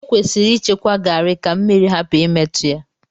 Ekwesịrị ịchekwa Garri ka mmiri hapụ imetụ ya.